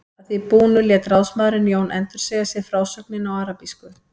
Að því búnu lét ráðsmaðurinn Jón endursegja sér frásögnina á arabísku.